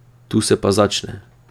Tu se pa začne.